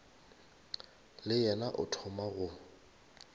le yena o thoma go